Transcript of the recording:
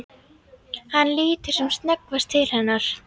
Hann lítur sem snöggvast til hennar.